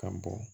Ka bɔ